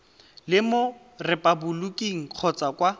le mo repaboliking kgotsa kwa